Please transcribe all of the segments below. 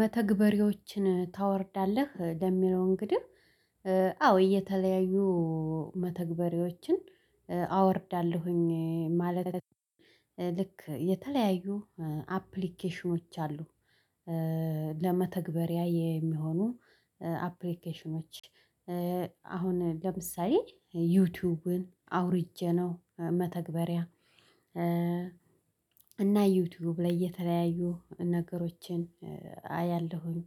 መተግበሪዎችን ታወርዳለህ ለሚለው? እንግዲህ አዎ እየተለያዩ መተግበሪዎችን አወርዳለሁኝ ማለት ልክ የተለያዩ አፕሊኬሽኖች አሉ ለመተግበሪያ የሚሆኑ አፕሊኬሽኖች። አሁን ለምሳሌ ዩቲዩብን አውርጄ ነው። መተግበሪያ እና ዩቲዩብ ላይ የተለያዩ ነገሮችን አያለሁኝ።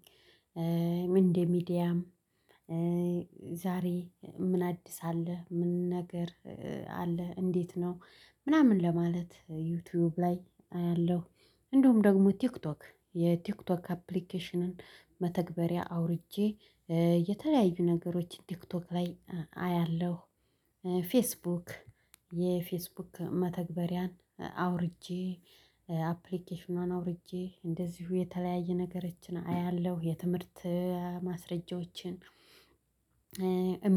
እንደ ሚዲያም ዛሬ ምን አዲስ አለ ምን ነገር አለ እንዴት ነው ምናምን ለማለት ዩቲዩብ ላይ አያለሁ። እንደውም ደግሞ ቲክቶክ የቲክቶክ አፕሊኬሽንን መተግበሪያ አውርጄ የተለያዩ ነገሮች ቲክቶክ ላይ አያለሁ። ፌስቡክ የፌስቡክ መተግበሪያን አውርጄ አፕሊኬሽኗን አውርጄ እንደዚሁ የተለያየ ነገሮችን አያለሁ። የትምህርት ማስረጃዎችን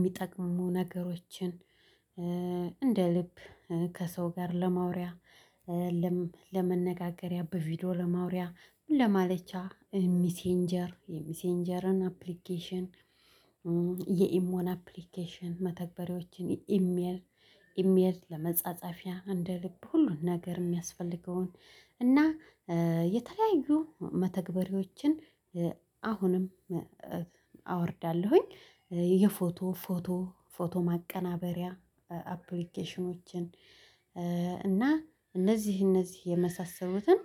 ሚጠቅሙ ነገሮችን እንደ ልብ ከሰው ጋር ለማውሪያ ለመነጋገሪያ በቪዲዮ ለማውሪያ ምን ለማሌቻ ሚሴንጀር የሚሴንጀርን አፕሊኬሽን። የኢሞን አፕሊኬሽን መተግበሪያዎችን ኢሜል ኢሜል ለመጻጸፊያ እንደ ልብ ሁሉን ነገር የሚያስፈልገውን እና የተለያዩ መተግበሪዎችን አሁንም አወርዳለሁኝ። የፎቶ ፎቶ ማቀናበሪያ አፕሊኬሽኖችን። እና እነዚህ እነዚህ የመሳሰሉትን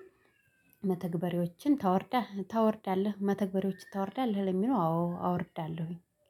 መተግበሪዎችን ታወርዳለህ መተግበሪዎችን ታወርዳለህ ለሚለው? አዎ አወርዳለሁኝ